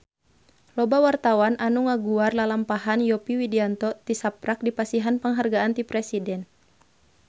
Loba wartawan anu ngaguar lalampahan Yovie Widianto tisaprak dipasihan panghargaan ti Presiden